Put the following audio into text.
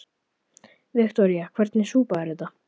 Viktoría: Hvernig súpa er þetta?